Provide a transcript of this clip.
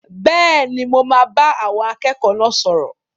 Bẹ́ẹ̀ni, mo máa bá àwọn akẹ́kọ̀ọ́ náà sọ̀rọ̀.